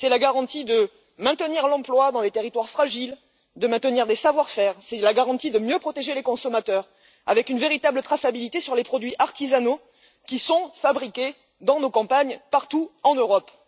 C'est la garantie de maintenir l'emploi dans les territoires fragiles, de maintenir des savoir faire, et c'est la garantie de mieux protéger les consommateurs, avec une véritable traçabilité sur les produits artisanaux fabriqués dans nos campagnes, partout en Europe.